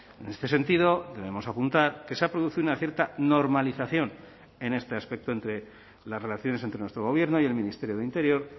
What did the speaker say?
en este sentido debemos apuntar que se ha producido una cierta normalización en este aspecto entre las relaciones entre nuestro gobierno y el ministerio de interior